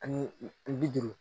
Ani bi duuru